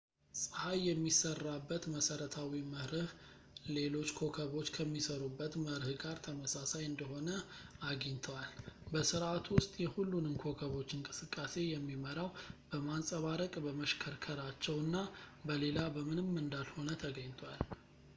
ጸሀይ የሚሰራበት መሰረታዊ መርህ ለሎች ኮከቦች ከሚሰሩበት መርህ ጋር ተመሳሳይ እንደሆነ አግኝተዋል በስርዓቱ ውስጥ የሁሉንም ኮከቦች እንቅስቃሴ የሚመራው በማንፀባረቅ በመሽከርከራቸው እና በሌላ በምንም እንዳልሆነ ተገኝቷል